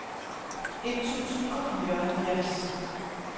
et tusind og fireoghalvfjerds